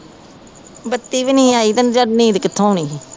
ਬੱਤੀ ਵੀ ਨਹੀਂ ਆਈ, ਕੰਜ਼ਰ ਨੀਂਦ ਕਿੱਥੋਂ ਆਉਣੀ ਸੀ,